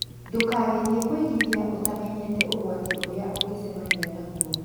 Ndũkagerie kũigithia ũtamenyete ũgwati ũrĩa ũngĩcemania naĩ.